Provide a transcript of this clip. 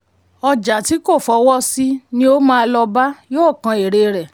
ọjà tí kò fọwọ́ sí ni o máa lọ bá yóò kan èrè rẹ.